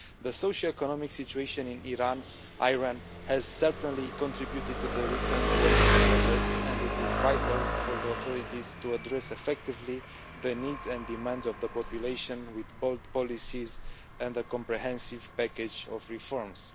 The socioeconomic situation in Iran has certainly contributed to the recent wave of protests and it is vital for the authorities to address effectively the needs and demands of the population with bold policies and a comprehensive package of reforms.